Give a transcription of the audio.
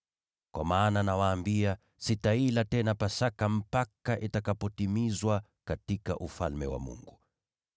Kwa maana, nawaambia, sitaila tena Pasaka mpaka itakapotimizwa katika Ufalme wa Mungu.”